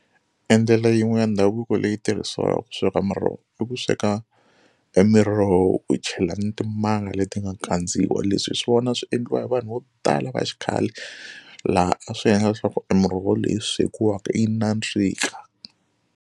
Endlela yin'we ya ndhavuko leyi tirhisiwaka ku sweka muroho i ku sweka e miroho u chela ni timanga leti nga kandziwa leswi hi swona swi endliwa hi vanhu vo tala va xikhale laha a swi endla leswaku i muroho leyi swekiwaka yi nandzika.